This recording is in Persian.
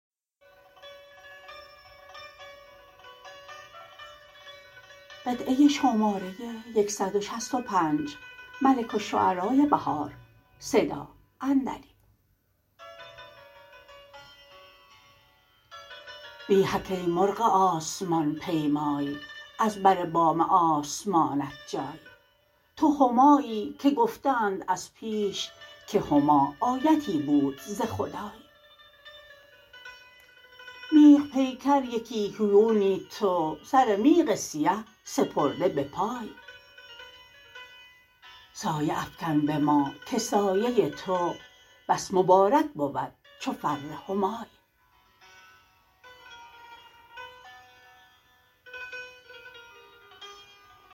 ویحک ای مرغ آسمان پیمای از بر بام آسمانت جای تو همایی که گفته اند از پیش که هما آیتی بود ز خدای میغ پیکر یکی هیونی تو سر میغ سیه سپرده بپای سایه افکن به ما که سایه تو بس مبارک بود چو فر همای